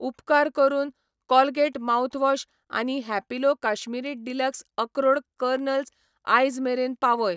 उपकार करून Colgate mouthwash आनी हॅपिलो काश्मीरी डीलक्स अक्रोड कर्नेल्स आयज मेरेन पावय.